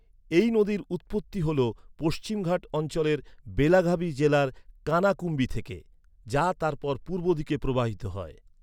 এই নদীর উৎপত্তি হল পশ্চিম ঘাট অঞ্চলের বেলাগাভি জেলার কানাকুম্বি থেকে, যা তারপর পূর্ব দিকে প্রবাহিত হয়।